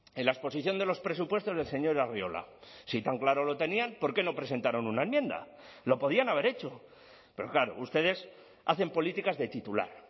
en la exposición de los presupuestos del señor arriola si tan claro lo tenían por qué no presentaron una enmienda lo podían haber hecho pero claro ustedes hacen políticas de titular